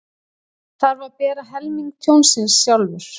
Þarf að bera helming tjónsins sjálfur